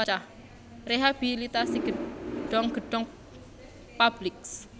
Rehabilitasi gedhong gedhong publik